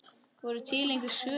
Voru til einhver svör?